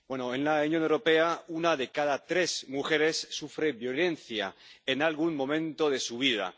En la Unión Europea una de cada tres mujeres sufre violencia en algún momento de su vida.